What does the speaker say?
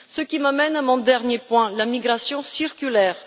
Ce qui m'amène à mon dernier point la migration circulaire.